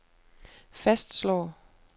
fastslår